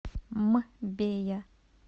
мбея